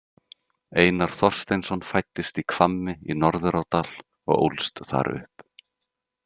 Einar Þorsteinsson fæddist í Hvammi í Norðurárdal og ólst þar upp.